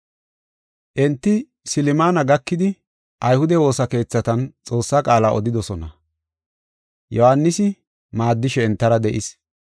Enti Silmana gakidi ayhude woosa keethatan Xoossaa qaala odidosona. Yohaanisi maaddishe entara de7ees.